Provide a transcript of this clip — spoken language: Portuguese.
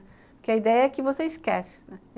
Porque a ideia é que você esquece, né.